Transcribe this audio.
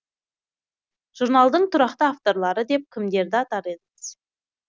журналдың тұрақты авторлары деп кімдерді атар едіңіз